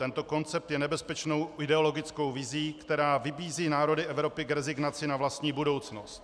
Tento koncept je nebezpečnou ideologickou vizí, která vybízí národy Evropy k rezignaci na vlastní budoucnost.